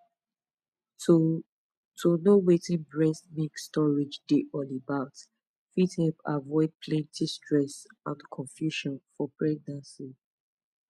to to know wetin breast milk storage dey all about fit help avoid plenty stress and confusion for pregnancy